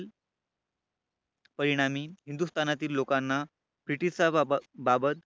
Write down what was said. परिणामी हिंदुस्थानातील लोकांना ब्रिटिशाबाबत बाबत